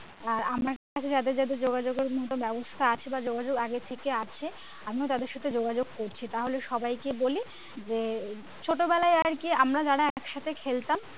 আর আমি একটা যাদের যাদের যোগাযোগের মতো ব্যাবস্থা আছে বা যোগাযোগ আগে থেকেই আছে আমি তাদের সাথে যোগাযোগ করছি তাহলে সবাইকে বলি যে ছোটবেলায় আরকি আমরা যারা একসাথে খেলতাম